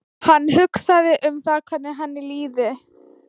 Hann hugsaði um það hvernig henni liði.